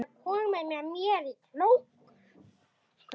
Er einhver skýring á því?